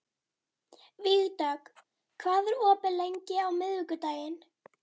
Vígdögg, hvað er opið lengi á miðvikudaginn?